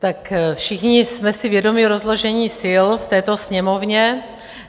Tak všichni jsme si vědomi rozložení sil v této Sněmovně.